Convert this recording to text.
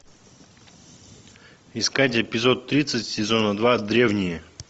искать эпизод тридцать сезона два древние